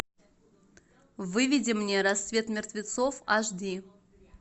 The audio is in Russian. выведи мне рассвет мертвецов аш ди